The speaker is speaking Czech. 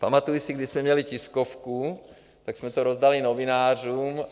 Pamatuji se, když jsme měli tiskovku, tak jsme to rozdali novinářům.